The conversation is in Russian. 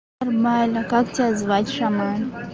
нормально как тебя звать шаман